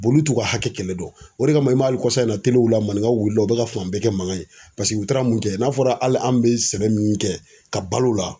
olu t'u ka hakɛ kɛlɛ dɔn. O de kama i m'a hali kɔsa in na w la maninkaw wulila u bɛ ka fan bɛɛ kɛ mankan ye paseke u taara mun kɛ n'a fɔra hali an' be sɛbɛ min kɛ ka bal'o la